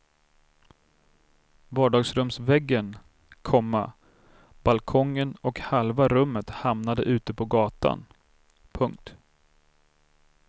Vardagsrumsväggen, komma balkongen och halva rummet hamnade ut på gatan. punkt